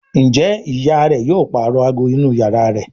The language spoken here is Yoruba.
Njé ìyá rẹ yóò parọ àgọ inú iyàrá rẹ?